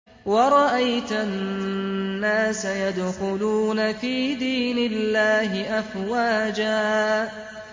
وَرَأَيْتَ النَّاسَ يَدْخُلُونَ فِي دِينِ اللَّهِ أَفْوَاجًا